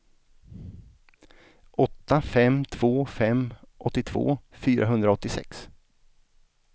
åtta fem två fem åttiotvå fyrahundraåttiosex